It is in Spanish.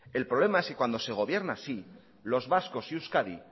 el problema es que cuando se gobierna así los vascos y euskadi